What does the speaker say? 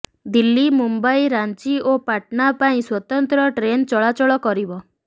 ଦିଲ୍ଲୀ ମୁମ୍ବାଇ ରାଞ୍ଚୀ ଓ ପାଟନା ପାଇଁ ସ୍ୱତନ୍ତ୍ର ଟ୍ରେନ୍ ଚଳାଚଳ କରିବ